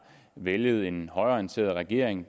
væltet en højreorienteret regering